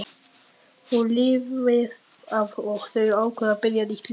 Hún lifir af og þau ákveða að byrja nýtt líf.